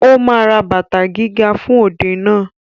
Ó ma ra bàtà gíga fún òde náà